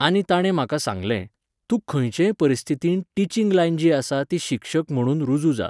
आनी तांणे म्हाका सांगलें, तूं खंयचेय परिस्थितींत टिचींग लायन जी आसा ती शिक्षक म्हणून रुजू जा